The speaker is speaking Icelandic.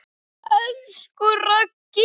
Elsku Raggi.